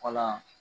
Kɔnɔ yan